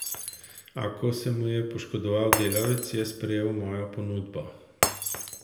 A ko se mu je poškodoval delavec, je sprejel mojo ponudbo.